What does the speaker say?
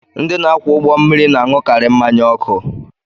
Ndị na-akwọ ụgbọ mmiri na-aṅụkarị mmanya ọkụ